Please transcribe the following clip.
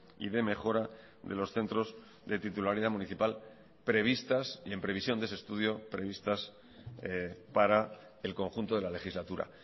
y de mejora de los centros de titularidad municipal previstas y en previsión de ese estudio previstas para el conjunto de la legislatura